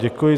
Děkuji.